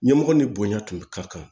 Ɲɛmɔgɔ ni bonya tun bɛ ka kan